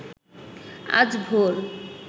আজ ভোর